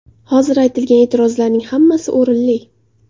Hozir aytilgan e’tirozlarning hammasi o‘rinli.